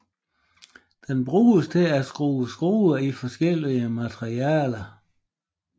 Den bruges til at skrue skruer i forskellige materialer